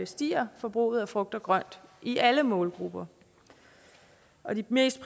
stiger forbruget af frugt og grønt i alle målgrupper og de mest